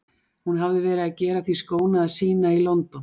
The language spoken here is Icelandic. Hún hafði verið að gera því skóna að sýna í London.